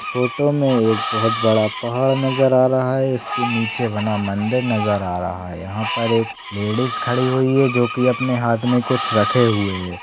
Photo मे एक बहोत बड़ा पहाड़ नजर आ रहा है इसके नीचे बना मंदिर नजर आ रहा है यहा पर एक लेडीज खड़ी हुई है जो की अपने हाथ मे कुछ रखे हुए है।